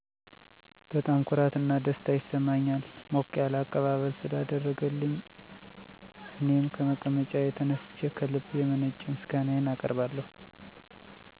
በጣም ኩራት እና ደስታ ይሰማኛል ሞቅ ያለ አቀባበል ስላደረገልኝ እኔም ከመቀመጫዬ ተነስቸ ከልብ የመነጨ ምስጋናየን አቀርብለታለሁ።